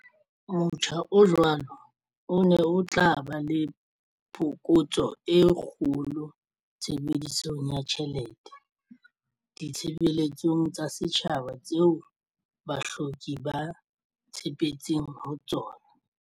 Motjha o jwalo o ne o tla ba le phokotso e kgolo tshebedisong ya tjhelete ditshebeletsong tsa setjhaba tseo bahloki ba tshepetseng ho tsona.